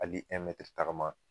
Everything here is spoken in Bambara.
Hali tagama